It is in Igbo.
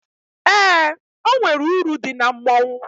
Eé, o nwere uru dị na mmọnwụ.